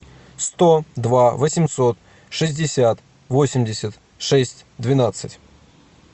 сто два восемьсот шестьдесят восемьдесят шесть двенадцать